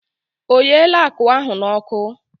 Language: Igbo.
O yeele akụ ahụ n'ọkụ?